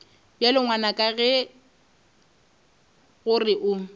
bjale ngwanaka ke gore o